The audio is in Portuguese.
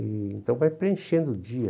E então vai preenchendo o dia.